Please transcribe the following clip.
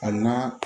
Ali n'a